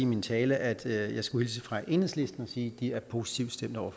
min tale at jeg skulle hilse fra enhedslisten og sige at de er positivt stemt over